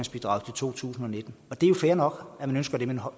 to tusind og nitten det er jo fair nok at man ønsker det men